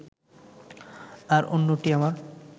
আর অন্যটি আমার